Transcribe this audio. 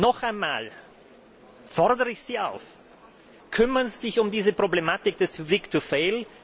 Noch einmal fordere ich Sie auf Kümmern Sie sich um diese Problematik des too big to fail.